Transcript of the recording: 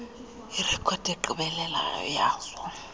irekhodi egqibeleleyo yazo